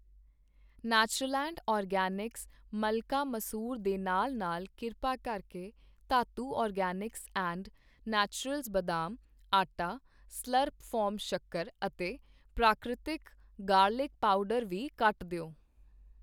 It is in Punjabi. ਨੇਚਰਲੈਂਡ ਆਰਗੈਨਿਕਸ ਮਲਕਾ ਮਸੂਰ ਦੇ ਨਾਲ-ਨਾਲ ਕਿਰਪਾ ਕਰਕੇ ਧਾਤੂ ਔਰਗੈਨਿਕਸ ਐਂਡ ਨੇਟੁਰੇਲਸ ਬਦਾਮ, ਆਟਾ, ਸਲੁਰੱਪ ਫਾਰਮ ਸ਼ੱਕਰ ਅਤੇ ਪ੍ਰਾਕ੍ਰਿਤਿਕ ਗਾਰਲਿਕ ਪਾਊਡਰ ਵੀ ਕੱਟ ਦਿਓ